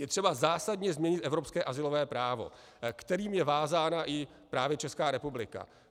Je třeba zásadně změnit evropské azylové právo, kterým je vázána právě i Česká republika.